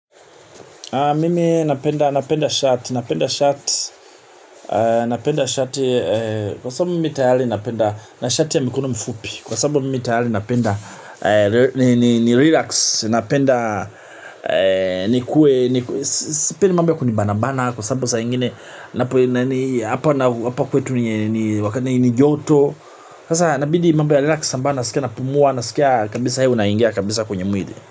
Mimi napenda napenda shati, napenda shati, napenda shati, kwa sababu mimi tayali napenda, na shati ya mikono mifupi, kwa sababu mimi tayali napenda, ni relax, napenda, nikue niku, sipendi mambo ya kunibana bana kwa sababu saa ingine, hapa hapa kwetu ni ni joto, sasa nabidi mambo ya relax ambayo, nasikia napumua, nasikia kabisa hewa inaingia kabisa kwenye mwili.